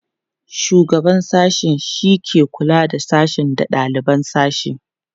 shugaban sashe shike kulawa da sashe da daliban sashe